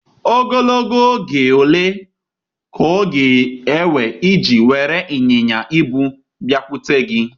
Ogologo oge ole ka ọ ga-ewe iji were ịnyịnya ibu bịakwute gị?